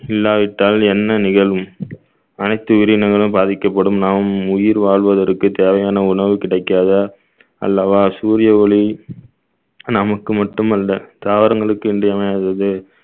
இல்லாவிட்டால் என்ன நிகழும் அனைத்து உயிரினங்களும் பாதிக்கப்படும் நாம் உயிர் வாழ்வதற்கு தேவையான உணவு கிடைக்காத அல்லவா சூரிய ஒளி நமக்கு மட்டுமல்ல தாவரங்களுக்கு இன்றியமையாதது